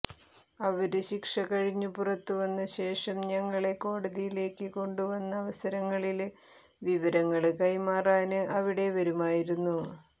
അവര് ശിക്ഷകഴിഞ്ഞു പുറത്തുവന്നശേഷം ഞങ്ങളെ കോടതിയില് കൊണ്ടുവന്ന അവസരങ്ങളില് വിവരങ്ങള് കൈമാറാന് അവിടെ വരുമായിരുന്നു